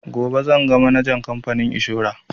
Gobe zan ga manajan kamfanin inshora